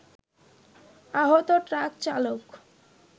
আহত ট্রাক চালক